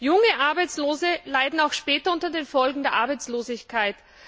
Junge Arbeitslose leiden auch später unter den Folgen der Arbeitslosigkeit.